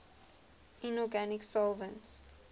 inorganic solvents